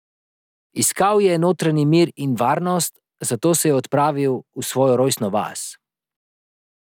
Iskal je notranji mir in varnost, zato se je odpravil v svojo rojstno vas.